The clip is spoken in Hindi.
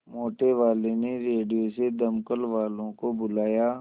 मोटेवाले ने रेडियो से दमकल वालों को बुलाया